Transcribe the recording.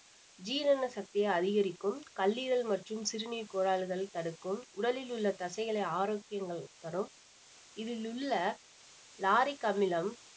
ஜீரண சக்தியை அதிகரிக்கும் கல்லீரல் மற்றும் சிறுநீர் கோளாறுகள் தடுக்கும் உடலில் உள்ள தசைகளை ஆரோக்கியங்கள் தரும் இதில் உள்ள lauric அமிலம்